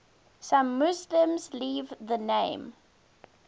some muslims leave the name